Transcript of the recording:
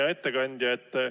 Hea ettekandja!